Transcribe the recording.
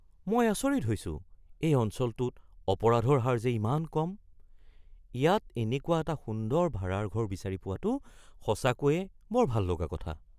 মই আচৰিত হৈছোঁ এই অঞ্চলটোত অপৰাধৰ হাৰ যে ইমান কম! ইয়াত এনেকুৱা এটা সুন্দৰ ভাড়াৰ ঘৰ বিচাৰি পোৱাটো সঁচাকৈয়ে বৰ ভাল লগা কথা।